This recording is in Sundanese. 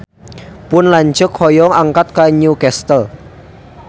Pun lanceuk hoyong angkat ka New Castle